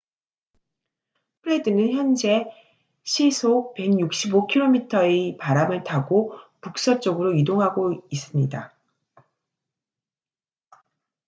프레드는 현재 시속 165km의 바람을 타고 북서쪽으로 이동하고 있습니다